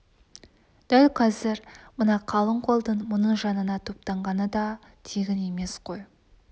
дәл қазір мына қалың қолдың мұның жанына топтанғаны да тегін емес қой